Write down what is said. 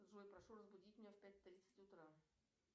джой прошу разбудить меня в пять тридцать утра